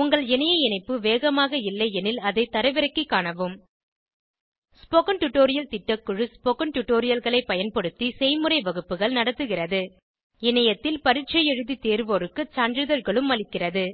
உங்கள் இணைய இணைப்பு வேகமாக இல்லையெனில் அதை தரவிறக்கிக் காணவும் ஸ்போகன் டுடோரியல் திட்டக்குழு ஸ்போகன் டுடோரியல்களைப் பயன்படுத்தி செய்முறை வகுப்புகள் நடத்துகிறது இணையத்தில் பரீட்சை எழுதி தேர்வோருக்கு சான்றிதழ்களும் அளிக்கிறது